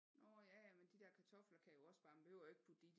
Nå ja ja men de der kartofler kan jo også bare man behøver jo ikke putte det i